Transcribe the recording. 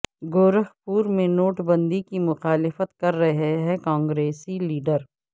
گورکھپور میں نوٹ بندی کی مخالفت کررہے کانگریسی لیڈر